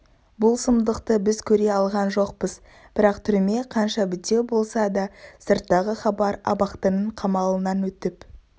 бұл сұмдықты біз көре алған жоқпыз бірақ түрме қанша бітеу болса да сырттағы хабар абақтының қамалынан өтіп